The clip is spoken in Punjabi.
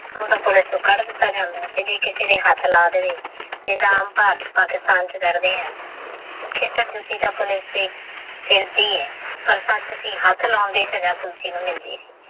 ਊਹ ਤੇਹ ਪੋਲਿਕੇ ਨੂ ਕਦ ਦਿੱਤਾ ਜ੍ਨਾਦਾ ਆਹ ਜੇ ਕਿਸੀ ਦੇ ਹੇਠ ਲਾ ਦੇਵੇ ਤਹ ਆਮ ਪਾਕਿਸ੍ਤਾਨ ਡਰਦੇ ਆਹ ਕੀੜੇ ਦੂਤੀ ਦਾ ਪੋਲਿਕੇ ਤੁਸੀ ਹੇਠ ਲਾ ਸਜਾ ਪੋਲਿਕੇ ਨੂ ਮਿਲਦੀ ਆਹ